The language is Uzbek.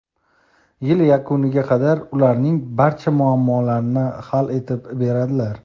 yil yakuniga qadar ularning barcha muammolarini hal etib beradilar.